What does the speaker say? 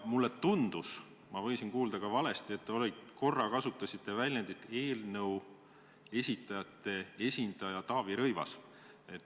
Mulle tundus – ma võisin ka valesti kuulda –, et te korra kasutasite väljendit "eelnõu esitajate esindaja Taavi Rõivas".